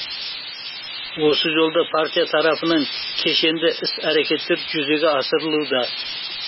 осы жолда партия тарапынан кешенді іс әрекеттер жүзеге асырылуда